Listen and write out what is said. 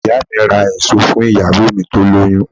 Ìyá mi máà ra èso fún ìyàwó mi tó lóyún